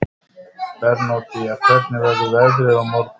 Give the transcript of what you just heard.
Bernódía, hvernig verður veðrið á morgun?